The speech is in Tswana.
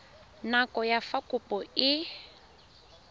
nako ya fa kopo e